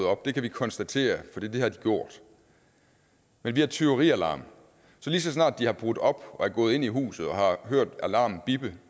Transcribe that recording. op det kan vi konstatere for det har de gjort men vi har tyverialarm så lige så snart de har brudt op og er gået ind i huset og har hørt alarmen bippe